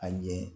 A ɲɛ